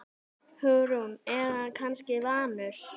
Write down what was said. Hugrún: Er hann kannski vanur?